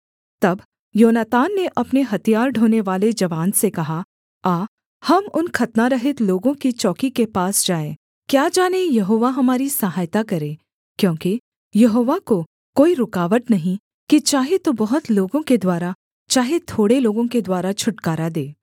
तब योनातान ने अपने हथियार ढोनेवाले जवान से कहा आ हम उन खतनारहित लोगों की चौकी के पास जाएँ क्या जाने यहोवा हमारी सहायता करे क्योंकि यहोवा को कोई रुकावट नहीं कि चाहे तो बहुत लोगों के द्वारा चाहे थोड़े लोगों के द्वारा छुटकारा दे